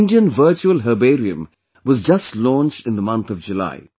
The Indian Virtual Herbarium was just launched in the month of July